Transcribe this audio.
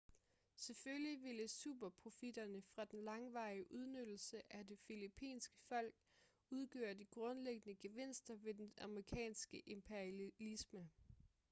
selvfølgelig ville superprofitterne fra den langvarige udnyttelse af det filippinske folk udgøre de grundlæggende gevinster ved den amerikanske imperialisme